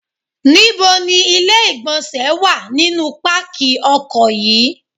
Ní bo ni ilé ìgbọ̀nsẹ̀ wà nínú pákí ọkọ̀ yí?